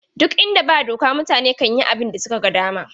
Ɗuk inda ba doka mutane kan yi abin da suka ga dama ne.